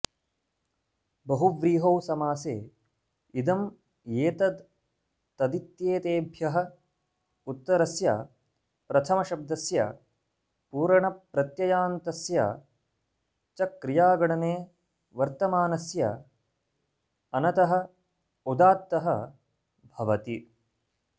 बहुव्रीहौ समासे इदम् एतद् तदित्येतेभ्यः उत्तरस्य प्रथमशब्दस्य पूरणप्रत्ययान्तस्य च क्रियागणने वर्तमानस्य अनतः उदात्तः भवति